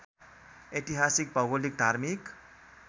ऐतिहासिक भौगोलिक धार्मिक